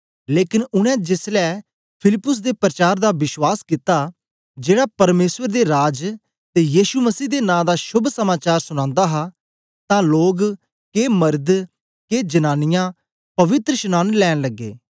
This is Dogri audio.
लेकन उनै जेसलै फिलिप्पुस दे परचार दा बश्वास कित्ता जेड़ा परमेसर दे राज ते यीशु मसीह दे नां दा शोभ समाचार सुनांदा हा तां लोग के मरद के जनांनीयां पवित्रशनांन लैंन लगे